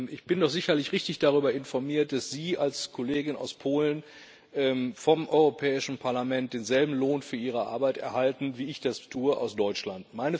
Ich bin doch sicherlich richtig darüber informiert, dass Sie als Kollegin aus Polen vom Europäischen Parlament denselben Lohn für Ihre Arbeit erhalten, wie ich das tue aus Deutschland.